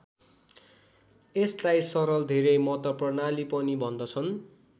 यसलाई सरल धेरै मत प्रणाली पनि भन्दछन्।